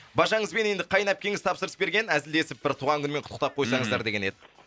бажаңыз бен енді қайын әпкеңіз тапсырыс берген әзілдесіп бір туған күнімен құттықтап койсаңыздар деген еді